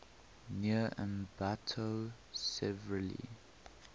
near ambato severely